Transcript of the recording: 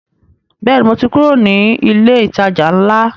Bẹ́ẹ̀ni, mo ti kúrò ní ilé ìtajà ńlá